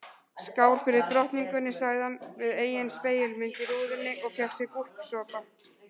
Skál fyrir drottningunni sagði hann við eigin spegilmynd í rúðunni og fékk sér gúlsopa.